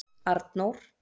Arnór